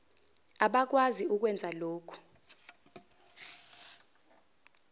abakwazi ukwenza lokhu